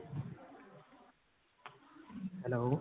hello